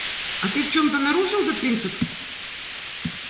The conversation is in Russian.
а ты в чем-то нарушил этот принцип